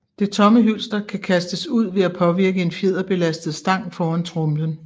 Det tomme hylster kan kastes ud ved at påvirke en fjederbelastet stang foran tromlen